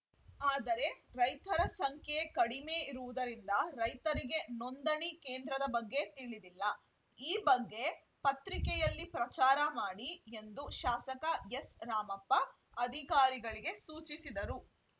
ಆದರೆ ರೈತರ ಸಂಖ್ಯೆ ಕಡಿಮೆ ಇರುವುದರಿಂದ ರೈತರಿಗೆ ನೋಂದಣಿ ಕೇಂದ್ರದ ಬಗ್ಗೆ ತಿಳಿದಿಲ್ಲ ಈ ಬಗ್ಗೆ ಪತ್ರಿಕೆಯಲ್ಲಿ ಪ್ರಚಾರ ಮಾಡಿ ಎಂದು ಶಾಸಕ ಎಸ್‌ರಾಮಪ್ಪ ಅಧಿಕಾರಿಗಳಿಗೆ ಸೂಚಿಸಿದರು